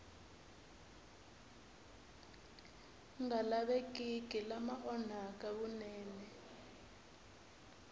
nga lavekeki lama onhaka vunene